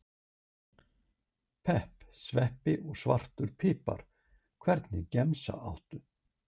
pepp, sveppi og svartan pipar Hvernig gemsa áttu?